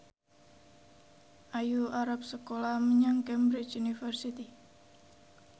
Ayu arep sekolah menyang Cambridge University